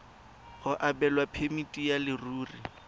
go abelwa phemiti ya leruri